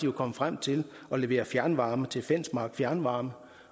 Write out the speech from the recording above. var kommet frem til at levere fjernvarme til fensmark fjernvarme